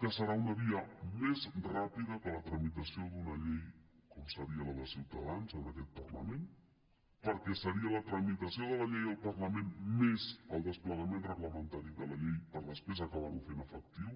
que serà una via més ràpida que la tramitació d’una llei com seria la de ciutadans en aquest parlament perquè seria la tramitació de la llei al parlament més el desplegament reglamentari de la llei per després acabar ho fent efectiu